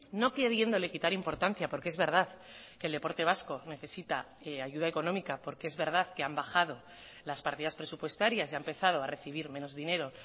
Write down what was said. no queriéndole quitar importancia porque es verdad que el deporte vasco necesita ayuda económica porque es verdad que han bajado las partidas presupuestarias y ha empezado a recibir menos dinero